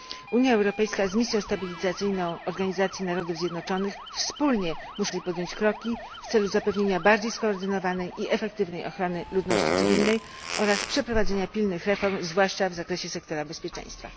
Unia Europejska z Misją Stabilizacyjną Organizacji Narodów Zjednoczonych muszą czym prędzej wspólnie podjąć kroki w celu zapewnienia bardziej skoordynowanej i efektywnej ochrony ludności cywilnej oraz przeprowadzenia pilnych reform, zwłaszcza w zakresie sektora bezpieczeństwa.